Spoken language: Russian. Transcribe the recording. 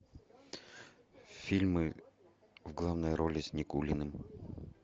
фильмы в главной роли с никулиным